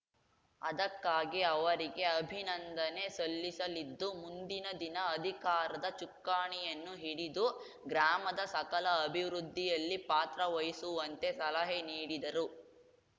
ಅದಕ್ಕಾಗಿ ಅವರಿಗೆ ಅಭಿನಂದನೆ ಸಲ್ಲಿಸಲಿದ್ದು ಮುಂದಿನ ದಿನ ಅಧಿಕಾರದ ಚುಕ್ಕಾಣಿಯನ್ನು ಹಿಡಿದು ಗ್ರಾಮದ ಸಕಲ ಅಭಿವೃದ್ಧಿಯಲ್ಲಿ ಪಾತ್ರ ವಹಿಸುವಂತೆ ಸಲಹೆ ನೀಡಿದರು